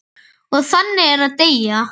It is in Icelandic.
Og þannig er að deyja.